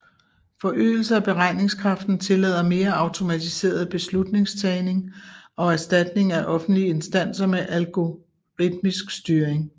Forøgelse af beregningskraften tillader mere automatiseret beslutningstagning og erstatning af offentlige instanser med algoritmisk styring